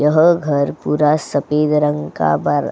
यह घर पूरा सपेद रंग का बर --